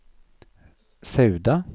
Sauda